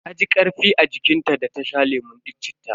Taji karfi a jikin ta da ta sha lemun cittan.